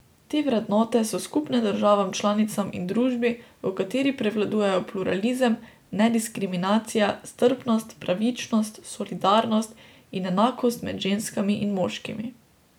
Te vrednote so skupne državam članicam in družbi, v kateri prevladujejo pluralizem, nediskriminacija, strpnost, pravičnost, solidarnost in enakost med ženskami in moškimi.